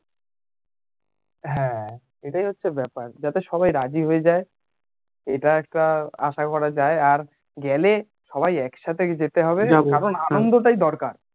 হ্যান এটাই হচ্ছে ব্যাপার যাতে সবাই রাজি হয়ে যাই এটা একটা আশা করা যাই আর গেলে সবাই একসাথেই যেতে হবে কারণ আনন্দ টাই দরকার